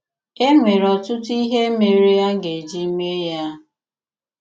É nwere ọtụtụ̀ ihe mèrè a ga-eji mee ya!